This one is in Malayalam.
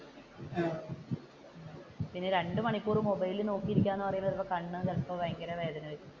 പിന്നെ രണ്ടു മണിക്കൂർ മൊബൈലിൽ നോക്കി ഇരിക്കുക എന്ന് പറയാൻ നേരം കണ്ണ് ചിലപ്പോ ഭയങ്കര വേദന ആയിരിക്കും.